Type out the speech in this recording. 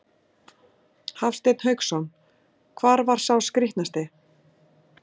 Hafsteinn Hauksson: Hvar var sá skrítnasti?